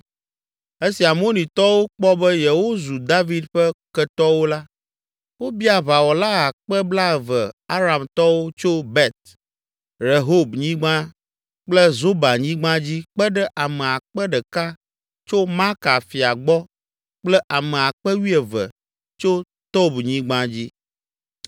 Esi Amonitɔwo kpɔ be yewozu David ƒe ketɔwo la, wobia aʋawɔla akpe blaeve Aramtɔwo tso Bet Rehobnyigba kple Zobahnyigba dzi kpe ɖe ame akpe ɖeka tso Maaka fia gbɔ kple ame akpe wuieve (12,000) tso Tobnyigba dzi.